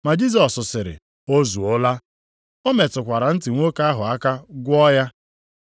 Ma Jisọs sịrị, “O zuola!” O metụkwara ntị nwoke ahụ aka gwọọ ya.